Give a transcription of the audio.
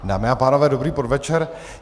Dámy a pánové, dobrý podvečer.